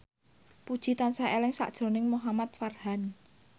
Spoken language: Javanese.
Puji tansah eling sakjroning Muhamad Farhan